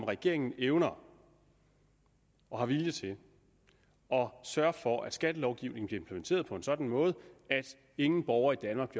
regeringen evner og har vilje til at sørge for at skattelovgivningen bliver implementeret på en sådan måde at ingen borger i danmark